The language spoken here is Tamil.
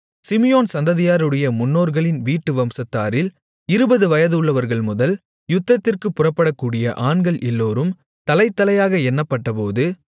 சிமியோன் சந்ததியாருடைய முன்னோர்களின் வீட்டு வம்சத்தாரில் இருபது வயதுள்ளவர்கள்முதல் யுத்தத்திற்குப் புறப்படக்கூடிய ஆண்கள் எல்லோரும் தலைதலையாக எண்ணப்பட்டபோது